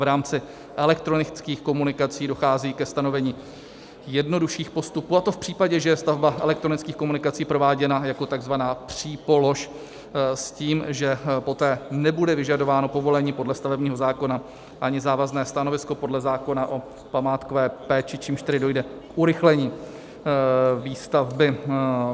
V rámci elektronických komunikací dochází ke stanovení jednodušších postupů, a to v případě, že je stavba elektronických komunikací prováděna jako tzv. přípolož, s tím, že poté nebude vyžadováno povolení podle stavebního zákona ani závazné stanovisko podle zákona o památkové péči, čímž tedy dojde k urychlení výstavby.